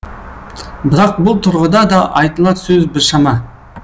бірақ бұл тұрғыда да айтылар сөз біршама